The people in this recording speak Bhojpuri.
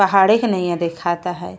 पहाड़े के नईया देखाता है।